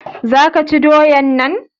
za ki/ ka ci doyan nan?